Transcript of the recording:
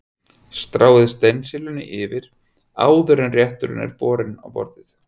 Stráið steinseljunni yfir áður en rétturinn er borinn á borð.